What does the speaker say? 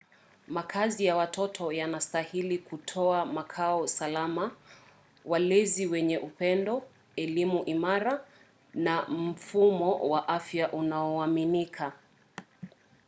makazi ya watoto yanastahili kutoa makao salama walezi wenye upendo elimu imara na mfumo wa afya unaoaminika